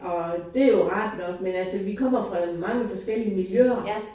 Og det jo rart nok men altså vi kommer fra mange forskellige miljøer